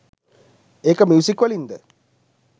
ඒක ‍මියුසික්වලින් ද